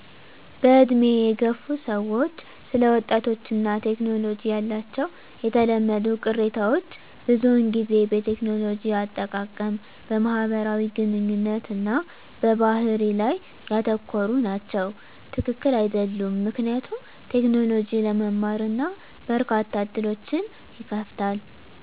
በዕድሜ የገፉ ሰዎች ስለ ወጣቶች እና ቴክኖሎጂ ያላቸው የተለመዱ ቅሬታዎች ብዙውን ጊዜ በቴክኖሎጂ አጠቃቀም፣ በማህበራዊ ግንኙነት እና በባህሪ ላይ ያተኮሩ ናቸው። # ትክክል አይደሉም ምክንያቱም: ቴክኖሎጂ ለመማር እና በርካታ ዕድሎችን ይከፍታል።